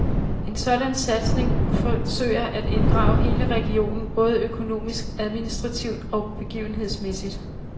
En sådan satsning forsøger at inddrage hele regionen både økonomisk, administrativt og begivenhedsmæssigt.